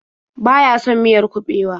Baya son miyar kuɓewa.